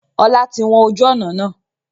Ọlá tí wọn ojú ọnà náà.